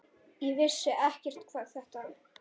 Ég vissi ekkert hvað þetta